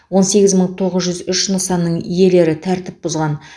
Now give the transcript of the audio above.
он сегіз мың тоғыз жүз үш нысанның иелері тәртіп бұзғаны